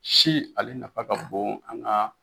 Si ale nafa ka bon an ka